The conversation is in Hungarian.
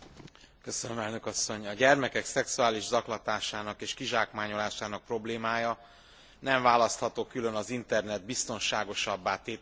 A gyermekek szexuális zaklatásának és kizsákmányolásának problémája nem választható külön az internet biztonságosabbá tételének kérdésétől.